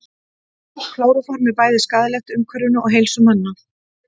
klóróform er bæði skaðlegt umhverfinu og heilsu manna